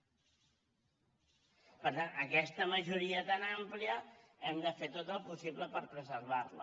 per tant aquesta majoria tan àmplia hem de fer tot el possible per preservar la